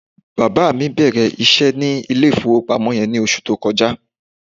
Bàbá mi bẹ̀rẹ̀ iṣẹ́ ní ilé-ìfowópamọ́ yẹn ní oṣù tó kọjá.